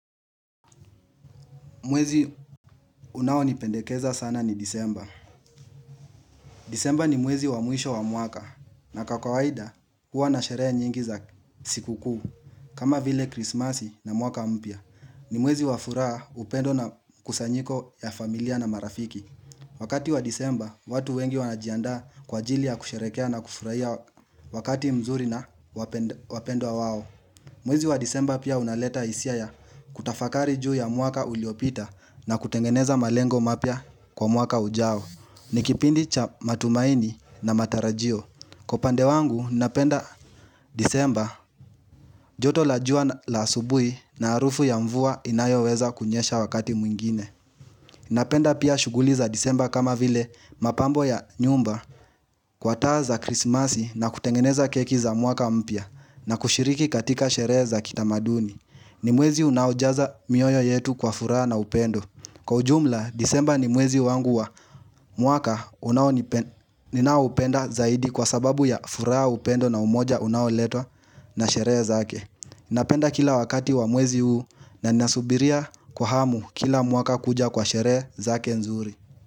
Mwezi unaonipendekeza sana ni disemba. Disemba ni mwezi wa mwisho wa mwaka na kwa kawaida huwa na sherehe nyingi za siku kuu. Kama vile krismasi na mwaka mpya. Ni mwezi wa furaha, upendo na kusanyiko ya familia na marafiki. Wakati wa disemba watu wengi wanajiandaa kwa ajili ya kusherehekea na kufurahia wakati mzuri na wapendwa wao. Mwezi wa disemba pia unaleta hisia ya kutafakari juu ya mwaka uliopita na kutengeneza malengo mapya kwa mwaka ujao. Ni kipindi cha matumaini na matarajio. Kwa upande wangu, napenda disemba joto la jua la asubuhi na harufu ya mvua inayoweza kunyesha wakati mwingine. Napenda pia shughuli za disemba kama vile mapambo ya nyumba kwa taa za krismasi na kutengeneza keki za mwaka mpya na kushiriki katika sherehe za kitamaduni. Ni mwezi unaojaza mioyo yetu kwa furaha na upendo. Kwa ujumla, disemba ni mwezi wangu wa mwaka ninaoupenda zaidi kwa sababu ya furaha, upendo na umoja unaoletwa na sherehe zake. Napenda kila wakati wa mwezi huu na ninasubiria kwa hamu kila mwaka kuja kwa sherehe zake nzuri.